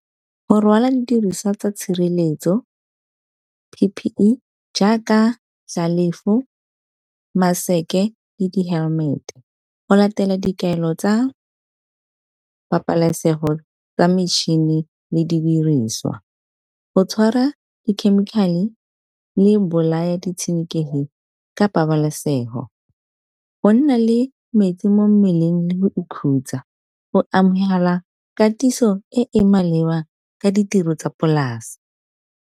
Go rwala didiriswa tsa tshireletso P_P_E jaaka maseke le di-helmet go latela dikaelo tsa pabalesego tsa metšhini le di diriswa. Go tshwara dikhemikhale le bolaya ditshenekegi ka pabalesego, go nna le metsi mo mmeleng le go ikhutsa go amohela katiso e e maleba ka ditiro tsa polase.